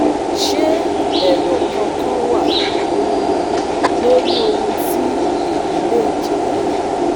Ṣé èrò kankan wà um lórí ohun tí èyí lè jẹ́?